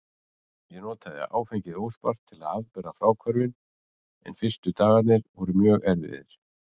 Ég notaði áfengið óspart til að afbera fráhvörfin en fyrstu dagarnir voru mjög erfiðir.